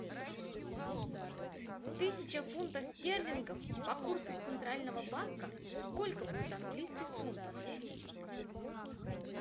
тысяча фунтов стерлингов по курсу центрального банка сколько будет английских фунтов